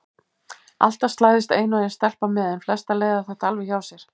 Alltaf slæðist ein og ein stelpa með en flestar leiða þetta alveg hjá sér.